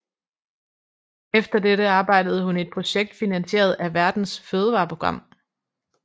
Efter dette arbejdede hun i et projekt finansieret af Verdens fødevareprogram